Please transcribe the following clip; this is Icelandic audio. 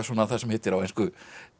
það sem heitir á ensku